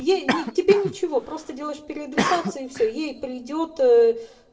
ей не тебе ничего просто делаешь переадресацию и все ей придёт